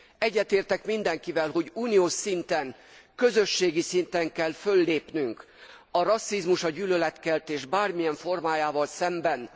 Egyetértek mindenkivel, hogy uniós szinten, közösségi szinten kell föllépnünk a rasszizmus, a gyűlöletkeltés bármilyen formájával szemben.